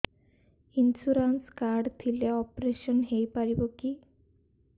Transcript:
insurance card ଥିଲେ operation ହେଇପାରିବ କି